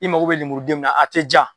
I mago bɛ lemurudenw min na a tɛ jaa.